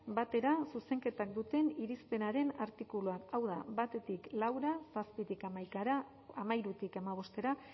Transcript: batera zuzenketak duten irizpenaren artikuluak hau da batetik laura zazpitik hamaikara hamairutik hamabostera